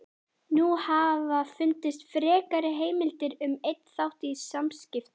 Nú hafa fundist frekari heimildir um einn þátt í samskiptum